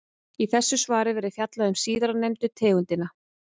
Í þessu svari verður fjallað um síðarnefndu tegundina.